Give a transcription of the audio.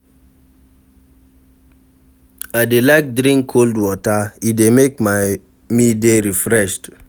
I dey like drink cold water, e dey make me dey refreshed.